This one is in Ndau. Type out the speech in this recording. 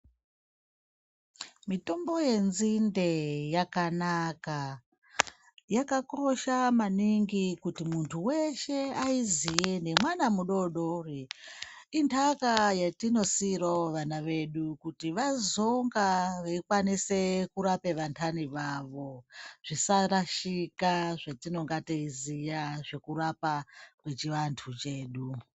Mitombo yenzinde yakanaka, yakakosha maningi kuti muntu weshe aiziye nemwana mudoodori. Intaka yetinosiirawo vana vedu kuti vazonga veikwanise kurape vantani vavo. Zvisarashika zvetinonga teiziya zvekurapa kwechivantu chedu.